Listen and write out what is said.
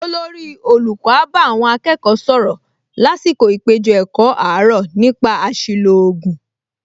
Olórí olùkọ́ á bá àwọn akẹ́kọ̀ọ sọ̀rọ̀ lásìkò ìpèjọ-ẹ̀kọ́ àárọ̀ nípa àṣìlò ògùn